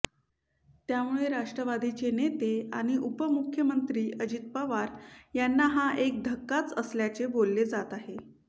त्यामुळे राष्ट्रवादीचे नेते आणि उपमुख्यमंत्री अजित पवार यांना हा एक धक्काच असल्याचे बोलले जात आहे